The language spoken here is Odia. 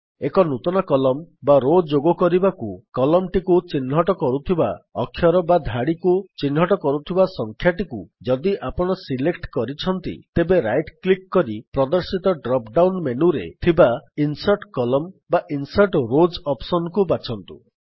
ଏକ ନୂତନ କଲମ୍ନ ବା ରୋ ଯୋଗ କରିବାକୁ Columnଟିକୁ ଚିହ୍ନଟ କରୁଥିବା ଅକ୍ଷର ବା ଧାଡିକୁ ଚିହ୍ନଟ କରୁଥିବା ସଂଖ୍ୟାଟିକୁ ଯଦି ଆପଣ ସିଲେକ୍ଟ କରିଛନ୍ତି ତେବେ ରାଇଟ୍ କ୍ଲିକ୍ କରି ପ୍ରଦର୍ଶିତ ଡ୍ରପ୍ ଡାଉନ୍ ମେନୁରେ ଥିବା ଇନ୍ସର୍ଟ୍ କଲମ୍ନ ବା ଇନ୍ସର୍ଟ୍ ରୋଜ୍ ଅପ୍ସନକୁ ବାଛନ୍ତୁ